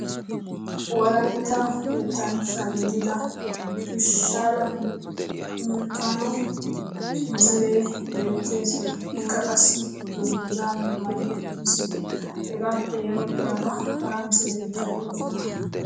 wolaytta yetanchcha gididda peshaale milkaano misilee beetees. ikka qassi danguzaa maayi uttiis. hegaappe ya bagara hara misiletikka de'oosona.